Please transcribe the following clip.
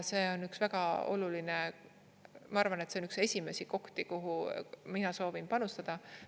See on üks väga oluline, ma arvan, et see on üks esimesi kohti, kuhu mina soovin panustada.